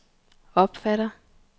opfatter